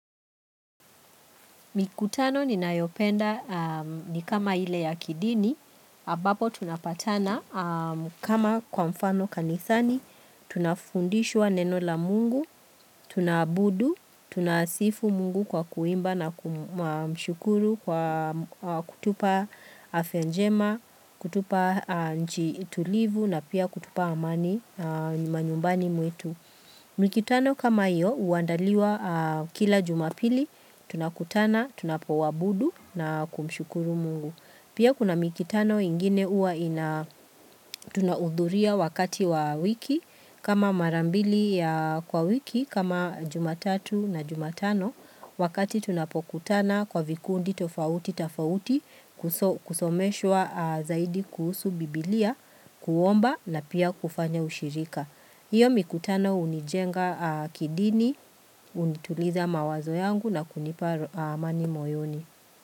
Mikutano ni nayopenda ni kama ile ya kidini, ambapo tunapatana kama kwa mfano kanisani, tunafundishwa neno la mungu, tunaabudu, tunasifu mungu kwa kuimba na kumshukuru kwa kutupa afyanjema, kutupa nchi tulivu na pia kutupa amani, manyumbani mwetu. Mikutano kama hiyo huandaliwa kila jumapili tunakutana tunapoabudu na kumshukuru mungu. Pia kuna mikutano ingine huwa ina tunaudhuria wakati wa wiki kama marambili ya kwa wiki kama jumatatu na jumatano wakati tunapokutana kwa vikundi tofauti tafauti kusomeshwa zaidi kuhusu biblia kuomba na pia kufanya ushirika. Hiyo mikutano hunijenga kidini, hunituliza mawazo yangu na kunipa amani moyoni.